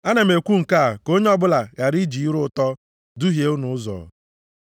Ana m ekwu nke a ka onye ọbụla ghara iji ire ụtọ duhie unu ụzọ.